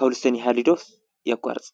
ከዉልስቶን ይሃሉ ዶስ የቋርፅ?